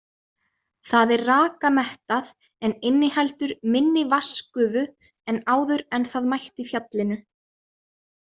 Það er rakamettað, en inniheldur minni vatnsgufu en áður en það mætti fjallinu.